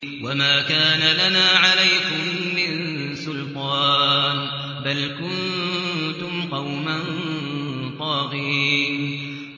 وَمَا كَانَ لَنَا عَلَيْكُم مِّن سُلْطَانٍ ۖ بَلْ كُنتُمْ قَوْمًا طَاغِينَ